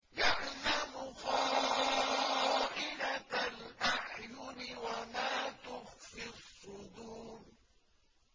يَعْلَمُ خَائِنَةَ الْأَعْيُنِ وَمَا تُخْفِي الصُّدُورُ